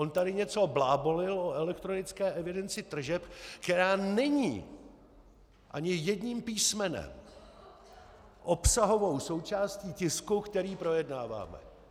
On tady něco blábolil o elektronické evidenci tržeb, která není ani jedním písmenem obsahovou součástí tisku, který projednáváme.